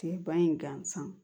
Tigɛba in gansan